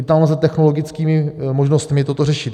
I tam lze technologickými možnostmi toto řešit.